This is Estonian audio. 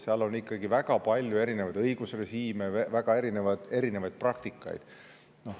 Seal on ikkagi väga palju erinevaid õigusrežiime ja praktikaid.